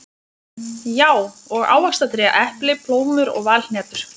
Já, og ávaxtatré: epli, plómur og valhnetur.